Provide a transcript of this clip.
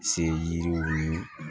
Se yiriw ni